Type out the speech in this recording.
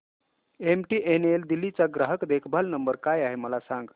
MTNL Delhi चा ग्राहक देखभाल नंबर काय आहे मला सांग